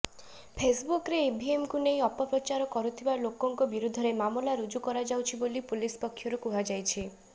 ଫେସ୍ବୁକରେ ଇଭିଏମକୁ ନେଇ ଅପପ୍ରଚାର କରୁଥିବା ଲୋକଙ୍କ ବିରୋଧରେ ମାମଲା ରୁଜୁ କରାଯାଉଛି ବୋଲି ପୁଲିସ୍ ପକ୍ଷରୁ କୁହାଯାଇଛି